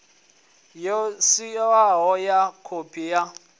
yo sainwaho ya khophi ya